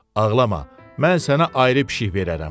Ağlama, mən sənə ayrı pişik verərəm.